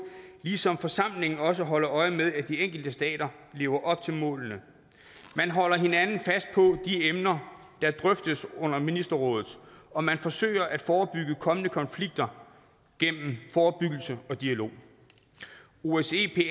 ligesom forsamlingen også holder øje med at de enkelte stater lever op til målene man holder hinanden fast på de emner der drøftes under ministerrådet og man forsøger at forebygge kommende konflikter gennem forebyggelse og dialog osce